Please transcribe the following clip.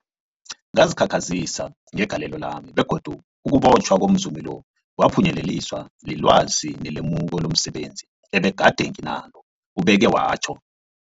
Ngazikhakhazisa ngegalelo lami, begodu ukubotjhwa komzumi lo kwaphunyeleliswa lilwazi nelemuko lomse benzi ebegade nginalo, ubeke watjho.